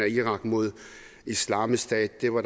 irak mod islamisk stat det var